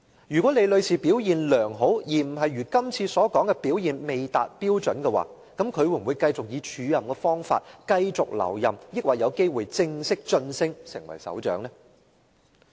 如果李女士表現良好，而非如這次所說的表現未達標準的話，她會否以署任方式繼續留任，還是有機會正式晉升成為首長呢？